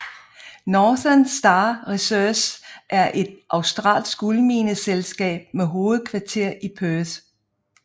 Northern Star Resources er et australsk guldmineselskab med hovedkvarter i Perth